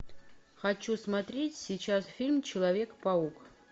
хочу смотреть сейчас фильм человек паук